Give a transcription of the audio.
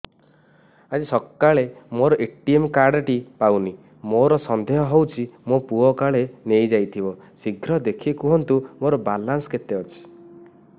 ଆଜି ସକାଳେ ମୋର ଏ.ଟି.ଏମ୍ କାର୍ଡ ଟି ପାଉନି ମୋର ସନ୍ଦେହ ହଉଚି ମୋ ପୁଅ କାଳେ ନେଇଯାଇଥିବ ଶୀଘ୍ର ଦେଖି କୁହନ୍ତୁ ମୋର ବାଲାନ୍ସ କେତେ ଅଛି